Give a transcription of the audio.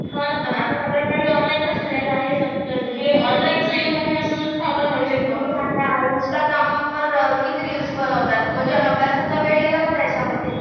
हो ना पण आता सगळं काही ऑनलाइनच झालेलं आहे. हे ऑनलाइनच युग आहे असं सुद्धा आपण म्हणू शकतो. आता इंस्टाग्रामवर किती रिल्स बनवतात अभ्यासाचा वेळ गेला ना त्याच्यामध्ये.